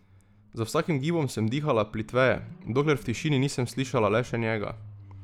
Z vsakim gibom sem dihala plitveje, dokler v tišini nisem slišala le še njega.